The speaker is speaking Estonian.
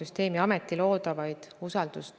Ja tihti me arutame neid küsimusi ka oma koosolekutel.